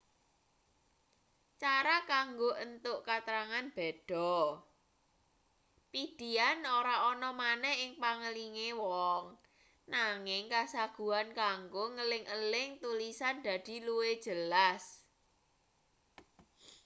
cara kanggo entuk katrangan beda pidihan ora ana maneh ing pangelinge wong nanging kasaguhan kanggo ngeling-eling tulisan dadi luwih jelas